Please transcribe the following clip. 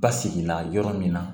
Basigi la yɔrɔ min na